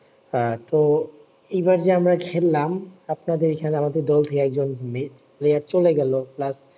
আহ তো এই বার যে আমরা খেললাম আপনাদের এই খানে আমাদের দল কে মে নিয়ে চলে গেলো plus